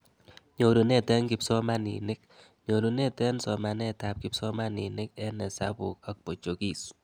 Nyorunet eng kipsomanink: Nyorunet eng somanetab kipsomanink eng hesabuk ak Portuguese